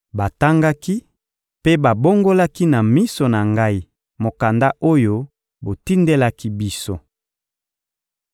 Batangaki mpe babongolaki na miso na ngai mokanda oyo botindelaki biso.